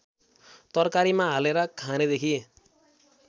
तरकारीमा हालेर खानेदेखि